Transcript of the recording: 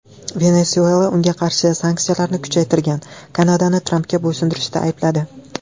Venesuela unga qarshi sanksiyalarni kuchaytirgan Kanadani Trampga bo‘ysunishda aybladi.